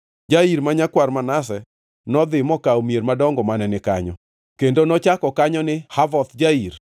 Jair ma nyakwar Manase nodhi mokawo mier madongo mane ni kanyo, kendo nochako kanyo ni Havoth Jair.